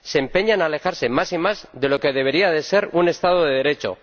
Se empeña en alejarse más y más de lo que debería ser un Estado de Derecho.